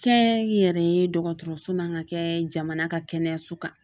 Kɛ n yɛrɛ ye dɔgɔtɔrɔso man ka kɛ jamana ka kɛnɛyaso kan.